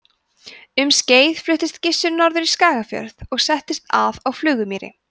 um skeið fluttist gissur norður í skagafjörð og settist að á flugumýri